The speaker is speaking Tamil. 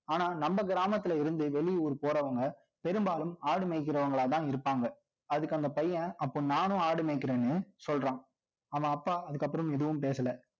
ஆனா, நம்ம கிராமத்துல இருந்து, வெளியூர் போறவங்க, பெரும்பாலும் ஆடு மேய்க்கிறவங்களாதான் இருப்பாங்க. அதுக்கு அந்த பையன், அப்போ நானும் ஆடு மேய்க்கிறேன்னு சொல்றான்அவன் அப்பா அதுக்கப்புறம் எதுவும் பேசல